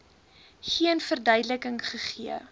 geen verduideliking gegee